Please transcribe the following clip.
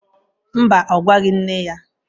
Mba, ọ gwaghị nne ya